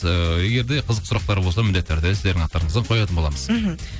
ііі егер де қызықты сұрақтар болса міндетті түрде сіздердің аттарыңыздан қоятын боламыз мхм